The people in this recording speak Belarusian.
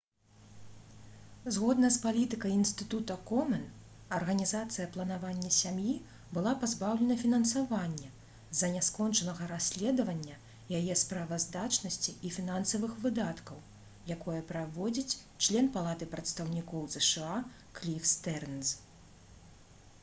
згодна з палітыкай інстытута комэн арганізацыя «планаванне сям'і» была пазбаўлена фінансавання з-за няскончанага расследавання яе справаздачнасці і фінансавых выдаткаў якое праводзіць член палаты прадстаўнікоў зша кліф стэрнз